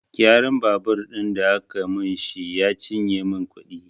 Gyaran babur ɗin da aka min shi ya cinye min kuɗi